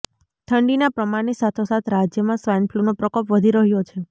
ઠંડીના પ્રમાણની સાથોસાથ રાજ્યમાં સ્વાઇન ફ્લૂનો પ્રકોપ વધી રહ્યો છે